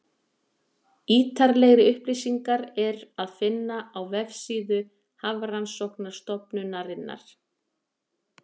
Ítarlegri upplýsingar er að finna á vefsíðu Hafrannsóknastofnunarinnar.